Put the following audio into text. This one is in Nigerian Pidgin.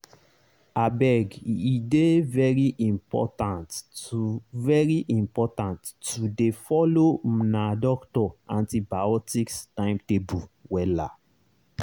abege dey very important to very important to dey follow una doctor antibiotics timetable wella.